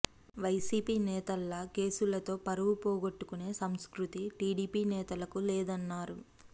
YCP నేతల్లా కేసులతో పరువు పోగోట్టుకునే సంస్కృతి టీడీపీ నేతలకు లేదన్నారు